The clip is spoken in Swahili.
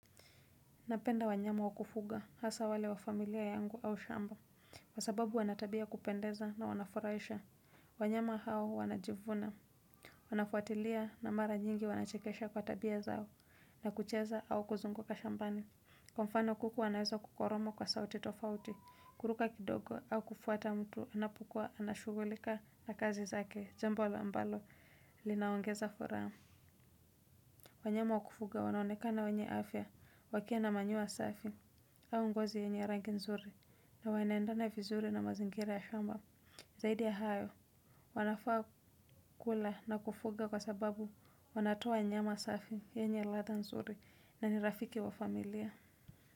Napenda wanyama wa kufuga hasa wale wa familia yangu au shamba. Kwa sababu wana tabia ya kupendeza na wanafurahisha. Wanyama hao wanajivuna. Wanafuatilia na mara nyingi wanachekesha kwa tabia zao. Na kucheza au kuzunguka shambani. Kwa mfano kuku wanaweza kuporomoka sauti tofauti. Kuruka kidogo au kufuata mtu. Anapokua anashugulika na kazi zake. Jambo la ambalo. Linaongeza furaha. Wanyama wa kufugwa wanaonekana wanye afya. Wakiwa na manyoya safi. Au ngozi yenye rangi nzuri na wanaendana vizuri na mazingira ya shamba zaidi ya hayo. Wanafaa kula na kufuga kwa sababu wanatoa nyama safi yenye ladha nzuri na ni rafiki wa familia.